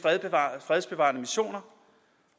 fredsbevarende missioner